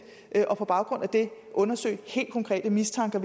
og på baggrund af det undersøge en hel konkret mistanke